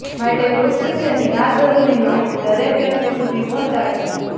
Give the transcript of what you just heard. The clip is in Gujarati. માટે વૃક્ષ વિશેની આ જરૂરી માહિતી દરેક વ્યક્તિ સુધી પહોંચાડજો